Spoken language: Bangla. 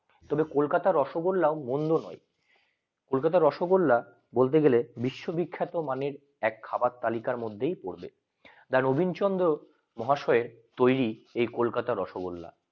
কিন্তু কলকাতা আর রসগোল্লা ও মন্দ নয় কলকাতা আর রসগোল্লা বলতে গেলে বিশ্ব বিখ্যাত এক খাবার তালিকা মধ্যেই পড়বে দা রবিনচন্দ্র মহাশয়ের তরী এই কলকাতা আর রসগোল্লা